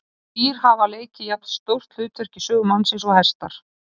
Fá dýr hafa leikið jafn stórt hlutverk í sögu mannsins og hestar.